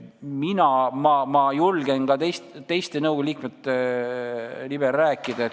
Ma julgen ka teiste nõukogu liikmete nimel rääkida.